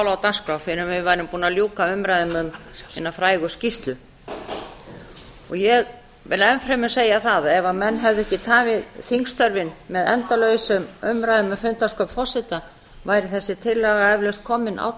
á dagskrá fyrr en við værum búin að ljúka umræðum um hina frægu skýrslu ég vil enn fremur segja það að ef menn hefðu ekki tafið þingstörfin með endalausum umræðum um fundarstjórn forseta væri þessi tillaga eflaust komin á